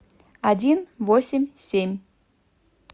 один восемь семь